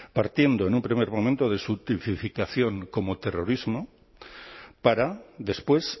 partiendo en un primer momento de su tipificación como terrorismo para después